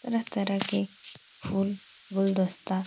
तरह -तरह के फूल गुलदस्ता --